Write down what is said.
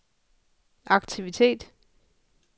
aktivitet